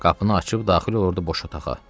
Qapını açıb daxil olurdu boş otağa.